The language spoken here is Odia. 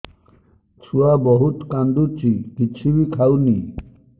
ଛୁଆ ବହୁତ୍ କାନ୍ଦୁଚି କିଛିବି ଖାଉନି